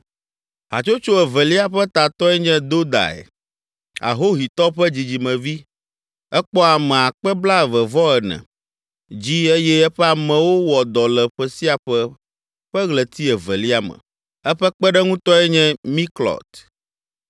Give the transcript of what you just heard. Hatsotso evelia ƒe tatɔe nye Dodai, Ahohitɔ ƒe dzidzimevi. Ekpɔ ame akpe blaeve-vɔ-ene (24,000) dzi eye eƒe amewo wɔa dɔ le ƒe sia ƒe ƒe ɣleti evelia me. Eƒe kpeɖeŋutɔe nye Miklɔt.